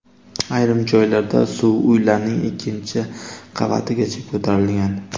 Ayrim joylarda suv uylarning ikkinchi qavatigacha ko‘tarilgan.